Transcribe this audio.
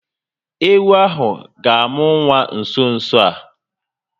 Ewu ahụ ga amụ nwa nso nso a